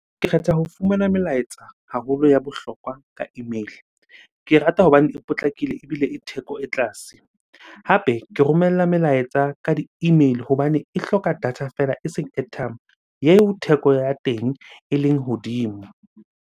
Ke kgetha ho fumana melaetsa haholo ya bohlokwa ka email-e. Ke e rata hobane e potlakile ebile e theko e tlase. Hape ke romella melaetsa ka di-email hobane e hloka data fela eseng airtime, yeo theko ya teng eleng hodimo.